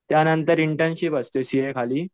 त्यांनतर इंटर्नशिप असते सीए खाली